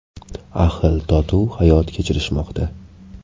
Ahil-totuv hayot kechirishmoqda.